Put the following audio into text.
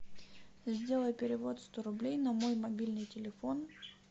сделай перевод сто рублей на мой мобильный телефон